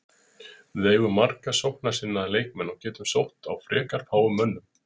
Við eigum marga sóknarsinnaða leikmenn og getum sótt á frekar fáum mönnum.